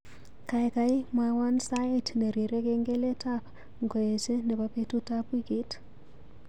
Gaigai mwawon sait nerirei kengeletab ngoeche nebo betutab wiikit